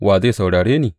Wa zai saurare ni?